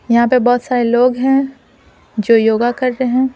यहां पे बहुत सारे लोग हैं जो योगा कर रहे हैं।